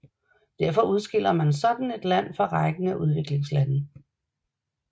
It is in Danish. Derfor udskiller man sådan et land fra rækken af udviklingslande